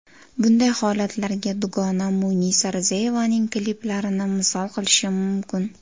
Bunday holatlarga dugonam Munisa Rizayevaning kliplarini misol qilishim mumkin.